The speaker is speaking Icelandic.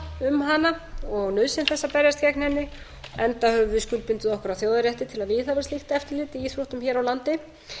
um hana og nauðsyn þess að berjast gegn henni enda höfum við skuldbundið okkur að þjóðarrétti til að viðhafa slíkt eftirlit í íþróttum hér á landi